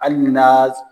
Hali ni na